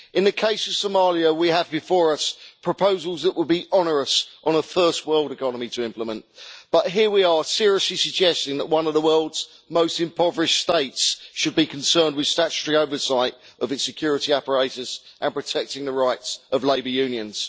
In the case of Somalia, we have before us proposals that would be onerous for a first world economy to implement, but here we are seriously suggesting that one of the world's most impoverished states should be concerned with statutory oversight of its security apparatus and protecting the rights of labour unions.